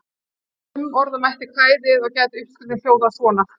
Umorða mætti kvæðið og gæti uppskriftin þá hljóðað svona: